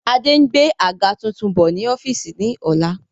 Adé ń gbé àga tuntun bọ̀ ni ọ́fíìsì ni ọ̀la